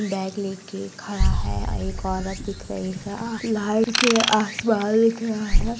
Bag लेकर खड़ा है एक औरत दिख रही है। लाइट आसमान--